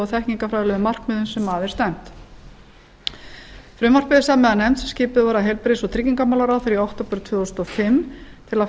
þekkingarfræðilegu markmiðum sem að er stefnt frumvarpið er samið af nefnd sem skipuð var af heilbrigðis og tryggingamálaráðherra í október tvö þúsund og fimm til að